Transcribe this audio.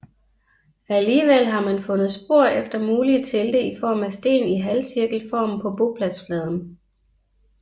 Alligevel har man fundet spor efter mulige telte i form af sten i halvcirkelform på bopladsfladen